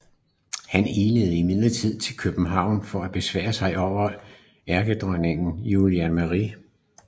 Han ilede imidlertid til København og besværede sig overfor enkedronning Juliane Marie